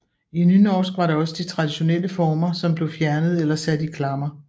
I nynorsk var det også de traditionelle former som blev fjernet eller sat i klammer